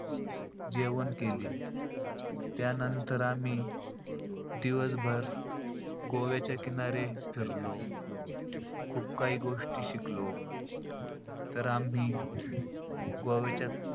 जेवण केले. त्यानंतर आम्ही दिवसभर गोव्याच्या किनारे फिरलो. खूप काही गोष्टी शिकलो. तर आम्ही गोव्याच्या,